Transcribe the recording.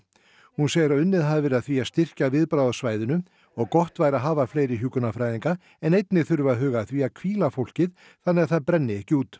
hún segir að unnið hafi verið að því að styrkja viðbragð á svæðinu og gott væri að hafa fleiri hjúkrunarfræðinga en einnig þurfi að huga að því að hvíla fólkið þannig að það brenni ekki út